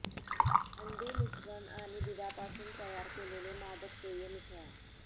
अंडी मिश्रण आणि दुधापासून तयार केलेले मादक पेय मिसळा